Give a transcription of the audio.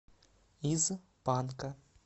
из панка